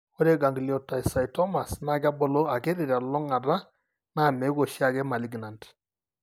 Ore Gangliocytomas naa kebulu akiti telulung'ata naa meeku oshiake maliginant.